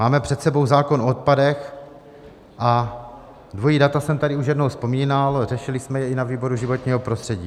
Máme před sebou zákon o odpadech a dvojí data jsem tady už jednou vzpomínal, řešili jsme je i na výboru životního prostředí.